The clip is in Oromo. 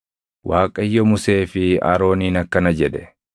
Waaqayyo Musee fi Arooniin akkana jedhe: